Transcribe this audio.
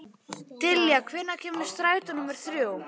Dallilja, hvenær kemur strætó númer þrjú?